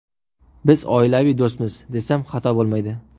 Biz oilaviy do‘stmiz, desam xato bo‘lmaydi”.